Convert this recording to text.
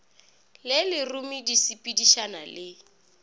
le lerumu di sepedišana le